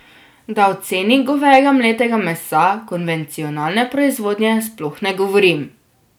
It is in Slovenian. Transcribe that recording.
Da o ceni govejega mletega mesa konvencionalne proizvodnje sploh ne govorim.